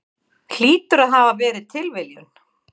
Hlýtur að hafa verið tilviljun.